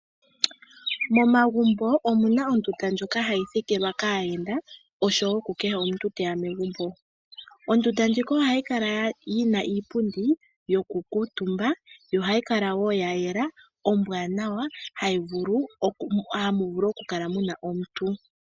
Momagumbo omuna ondunda ndjoka hayi thikilwa kaayenda oshowo ku kehe omuntu teya megumbo ondunda ndjika ohayi kala yina iipundi yokuutumba yo ohayi kala wo yayela ombwaanawa hamu vulu okukala muna omuntu.